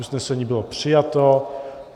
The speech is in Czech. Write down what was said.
Usnesení bylo přijato.